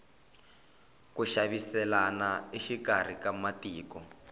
ku xaviselana exikarhi ka matiko